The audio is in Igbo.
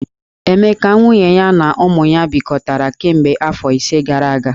Emeka, nwunye ya na ụmụ ha bikọtara kemgbe afọ ise gara aga.